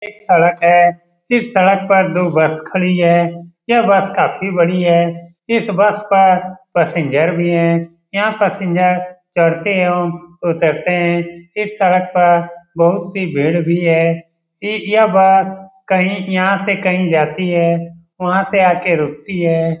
सड़क है इस सड़क पर दो बस खड़ी है ये बस काफी बड़ी है इस बस पर पैसेंजर भी है यहाँ पैसेंजर चढ़ते एवं उतरते है इस सड़क पर बहुत सी भीड़ भी है इ यह बस कहीं यहाँ से कहीं जाती है वहाँ से आ के रूकती है।